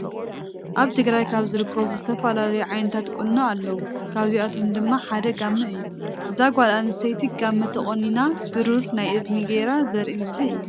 አብ ትግራይ ካብ ዝርከቡ ዝተፈላለዩ ዓይነታት ቁኖ አለዉ። ካብዚአቶም ድማ ሓደ ጋመ እዩ። እዛ ጋል አንስተይቲ ጋመ ተቆኒና ብሩሩ ናይ እዝኒ ገይሪ ዘሪኢ ምስሊ እዩ።